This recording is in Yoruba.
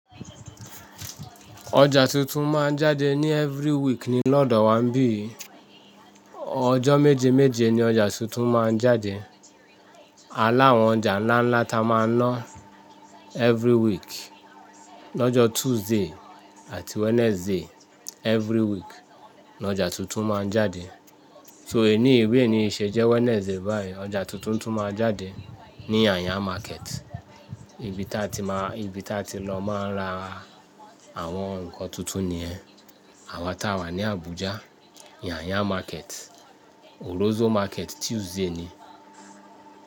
Ọjà tuntun máa ń jáde ní every week ni lọ́dọ̀ wa ńibí yii. Ọjọ́ méje méje ni ọjà tuntun máa ń jáde. Alá àwọn ọjà ńlá ńlá ta máa ń náà every week. Lọ́jọ́ Tuesday àti Wednesday every week ni ọjà tuntun máa ń jáde. So èní bi eni sejẹ Wednesday báyìí, ọjà tuntun tún máa jáde ní Yanya market, ibi ta ti má, ibi ta ti lọ máa ń ra àwọn nǹkan tuntun níyẹn. Àwa ta wà ní Abuja, Yanya market. Wuso market Tuesday ni.